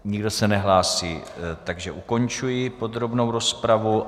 Nikdo se nehlásí, takže ukončuji podrobnou rozpravu.